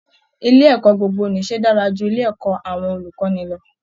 Ilé ẹ̀kọ́ gbogbo-nìṣe dára ju ilé ẹ̀kọ́ àwọn olùkọ́ni lọ